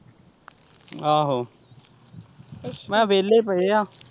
ਆਹੋ ਮੈਂ ਕਿਹਾ ਵਿਹਲੇ ਪਏ ਆ।